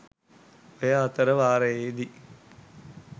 ඔය අතරවාරයේදී